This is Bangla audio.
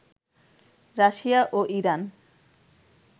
রাশিয়া ও ইরান